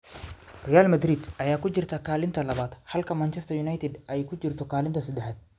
Real Madrid ayaa ku jirta kaalinta labaad halka Manchester United ay ku jirto kaalinta seddexaad.